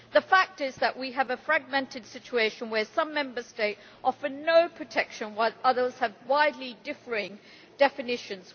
The fact is that we have a fragmented situation where some Member States offer no protection, while others have widely differing definitions.